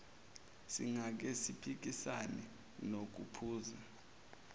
singake siphikisane nokuphusa